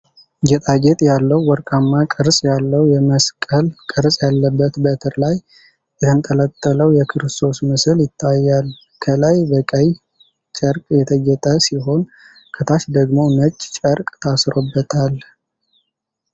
ጌጣጌጥ ያለው፣ ወርቃማ ቅርጽ ያለው የመስቀል ቅርጽ ያለበት በትር ላይ የተንጠለጠለው የክርስቶስ ምስል ይታያል፡፡ ከላይ በቀይ ጨርቅ የተጌጠ ሲሆን፣ ከታች ደግሞ ነጭ ጨርቅ ታስሮበታል።